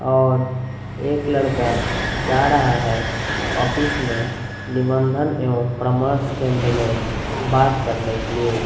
और एक लड़का जा रहा है ऑफिस में निबंधन एवं परामर्श केंद्र में बात करने के लिए।